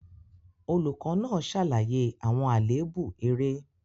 Olùkọ́ náà ṣàlàyé àwọn àléébù eré.